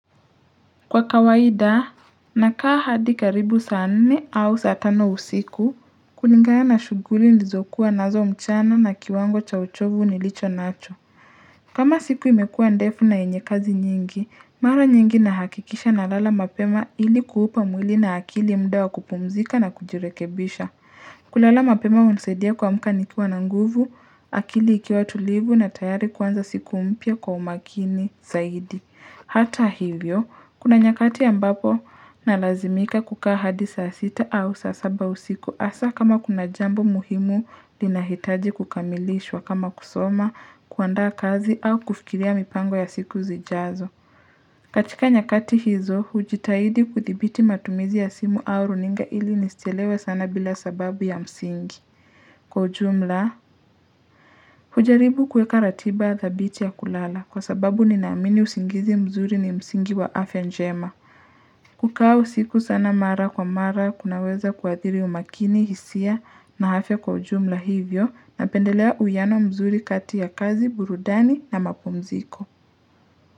Kwa kawaida na kaa hadi karibu saa nini au saa tano usiku kulingana na shughuli ndizo kuwa nazo mchana na kiwango cha uchovu nilicho nacho kama siku imekuwa ndefu na yenye kazi nyingi mara nyingi na hakikisha na lala mapema ili kuhupa mwili na akili mudawa wa kupumzika na kujirekebisha kulala mapema unisaidia kuamka nikiwa na nguvu akili ikiwa tulivu na tayari kuanza siku mpya kwa umakini zaidi Hata hivyo, kuna nyakati ambapo na lazimika kukaa hadi saa 6 au saa saba usiku hasa kama kuna jambo muhimu lina hitaji kukamilishwa kama kusoma, kuanda kazi au kufikiria mipango ya siku zijazo. Katika nyakati hizo, hujitahidi kuthibiti matumizi ya simu au runinga ili nisielewe sana bila sababu ya msingi. Kwa ujumla ujaribu kuweka ratiba dhabiti ya kulala kwa sababu ninaamini usingizi mzuri ni msingi wa afya njema kukaa usiku sana mara kwa mara kunaweza kuathiri umakini hisia na afya kwa ujumla hivyo na pendelea uwiano mzuri kati ya kazi burudani na mapumziko.